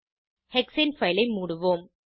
hexane file ஐ மூடுவோம்